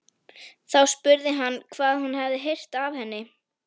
Þá spurði hann hvað hún hefði heyrt af henni.